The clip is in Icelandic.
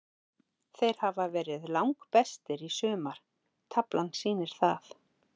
Þeir hafa verið langbestir í sumar, taflan sýnir það.